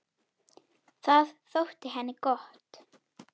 Það þótti henni gott.